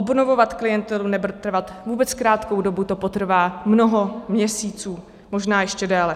Obnovovat klientelu nebude trvat vůbec krátkou dobu, to potrvá mnoho měsíců, možná ještě déle.